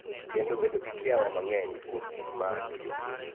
Kendo bedo gi kiawa mang�eny kuom gik ma atiyogo.